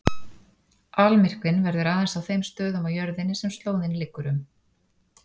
Almyrkvinn verður aðeins á þeim stöðum á jörðinni sem slóðin liggur um.